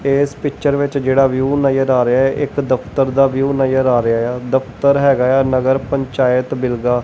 ਇਸ ਪਿਚਰ ਵਿੱਚ ਜਿਹੜਾ ਵਿਊ ਨਜ਼ਰ ਆ ਰਿਹਾ ਇੱਕ ਦਫਤਰ ਦਾ ਵਿਊ ਨਜ਼ਰ ਆ ਰਿਹਾ ਆ ਦਫਤਰ ਹੈਗਾ ਆ ਨਗਰ ਪੰਚਾਇਤ ਬਿਲ ਦਾ।